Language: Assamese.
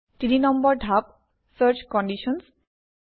তিনি নম্বৰ ধাপ - চাৰ্চ Conditions